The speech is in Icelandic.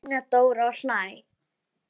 segir Una Dóra og hlær.